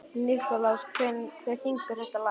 Sæmunda, hvaða dagur er í dag?